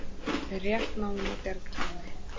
Við rétt náðum að bjarga henni